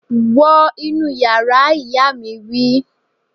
Wọ inú yàrá, ìyá mi wí